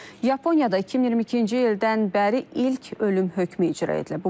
Yaponiyada 2022-ci ildən bəri ilk ölüm hökmü icra edilib.